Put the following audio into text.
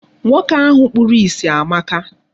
Nwoke ahụ kpuru isi amaka.